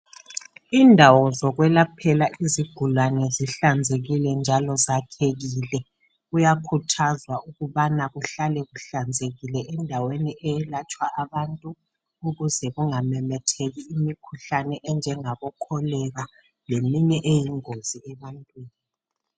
Indawo zokwelaphela izigulane zihlanzekile njalo zakhekile. Kuyakhuthwaza ukuba kuhlale kuhlanzekile endaweni zokwelaphela ukuze kungamemetheki imikhuhlane enjengabo cholera leminye imikhuhlane